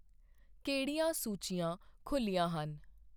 ਕਿਹੜੀਆਂ ਸੂਚੀਆਂ ਖੁੱਲ੍ਹੀਆਂ ਹਨ ?